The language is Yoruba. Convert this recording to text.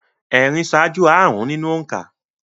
Ẹ̀rin ṣáájú àrụ́n nínú òǹkà